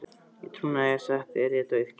Í trúnaði sagt er ég dauðfeginn.